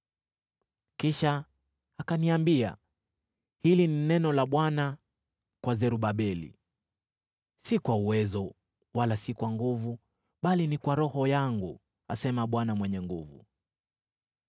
Kisha akaniambia, “Hili ni neno la Bwana kwa Zerubabeli: ‘Si kwa uwezo, wala si kwa nguvu, bali ni kwa Roho yangu,’ asema Bwana Mwenye Nguvu Zote.